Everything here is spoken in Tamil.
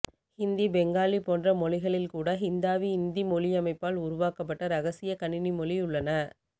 ஹிந்தி பெங்காளி போன்ற மொழிகளில்கூட ஹிந்தாவிஇந்திக் மொழியமைப்பால் உருவாக்கப்டட இரகசிய கணினிமொழியுள்ளன